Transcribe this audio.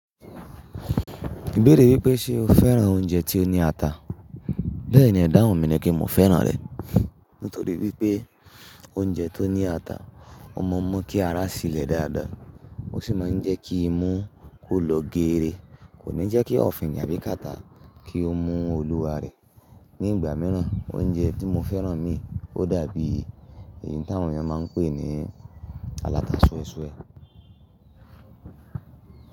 Mo béèrè wípé ṣe o fẹ́ràn oúnjẹ tí ó ní ata? Bẹ́ẹ̀ni, idáhùn, mi ní pe mo fẹ́ràn rẹ̀. Nítorí wípé oúnjẹ tó ní ata, ọmọ mú kí ara ṣilẹ̀ dáadáa, ó sì máa ń jẹ́ kí imú ó lọ geere, kò ní jẹ́ kí ọ̀fìnkì àbí kàtá kí ó mú olúwa rẹ̀. Ní ìgbà míràn oúnjẹ tí mo fẹ́ràn ni ó dàbí èyí tí àwọn èèyàn máa ń pè ní “alata súesúe”.